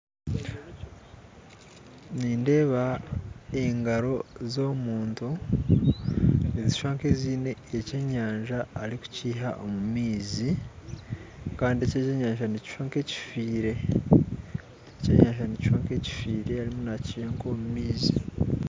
Nindeeba engaro z'omuntu nizishusha nk'eziine ekyenyanja ari kukiiha omu maizi kandi eki ekyenyanja nikishusha nk'ekifiire ekyenyanja nikishusha nk'ekifiire arimu nakiiha nk'omu maizi